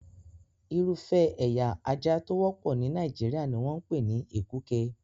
Irúfẹ́ ẹ̀ya ajá tó wọ́pọ̀ ní Nàìjíríà ni wọ́n ń pè ní Èkúke.